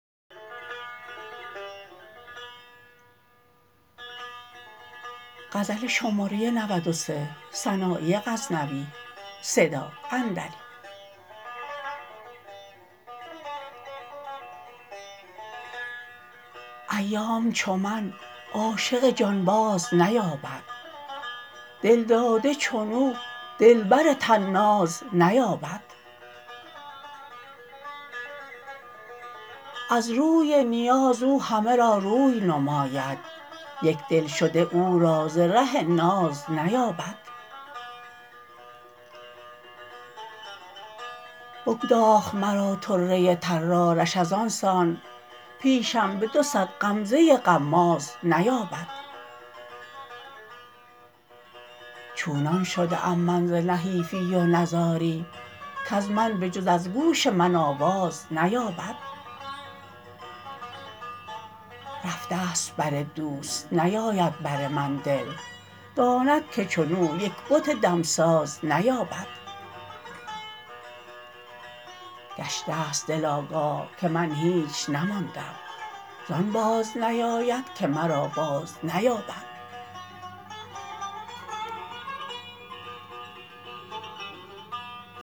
ایام چو من عاشق جانباز نیابد دلداده چنو دلبر طناز نیابد از روی نیاز او همه را روی نماید یک دلشده او را ز ره ناز نیابد بگداخت مرا طره طرارش از آن سان پیشم به دو صد غمزه غماز نیابد چونان شده ام من ز نحیفی و نزاری کز من به جز از گوش من آواز نیابد رفت ست بر دوست نیاید بر من دل داند که چنو یک بت دمساز نیابد گشتست دل آگاه که من هیچ نماندم زان باز نیاید که مرا باز نیابد